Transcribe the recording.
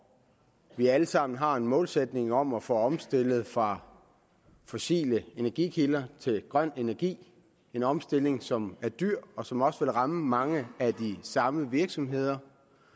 vi alle sammen har en målsætning om at få omstillet fra fossile energikilder til grøn energi en omstilling som er dyr og som også vil ramme mange af de samme virksomheder